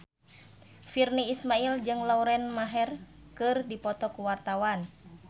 Virnie Ismail jeung Lauren Maher keur dipoto ku wartawan